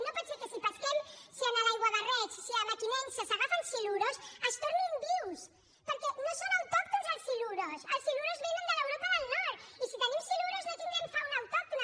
no pot ser que si pesquem si en l’aiguabarreig si a mequinensa s’agafen silurs es tornin vius perquè no són autòctons els silurs els silurs vénen de l’europa del nord i si tenim silurs no tindrem fauna autòctona